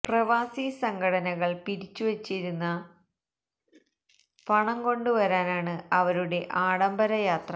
പ്രവാസി സംഘടനകൾ പിരിച്ചു വച്ചിരിക്കുന്ന പണം കൊണ്ടു വരാനാണ് അവരുടെ ആഡംബര യാത്ര